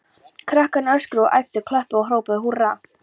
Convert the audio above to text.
Krakkarnir öskruðu og æptu, klöppuðu og hrópuðu húrra.